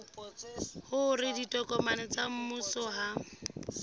hore ditokomane tsa mmuso ha